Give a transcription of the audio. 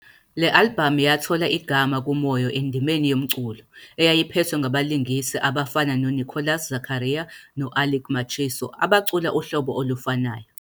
Le albhamu yathola igama kuMoyo endimeni yomculo, eyayiphethwe ngabalingisi abafana noNicholas Zakaria no-Alick Macheso abacula uhlobo olufanayo.